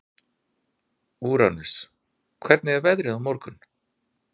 Úranus, hvernig er veðrið á morgun?